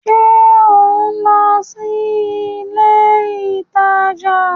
Ṣe o nlọ si ilé ìtàjà?